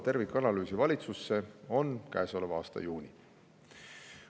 Tervikanalüüsi valitsusse toomise tähtaeg on käesoleva aasta juuni.